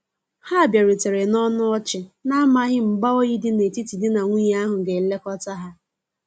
Ha biarutere na ọnụ ọchi, na amaghi mgba oyi di na etiti di na nwunye ahu ga elekota ha.